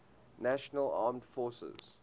national armed forces